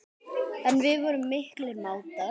En við vorum miklir mátar.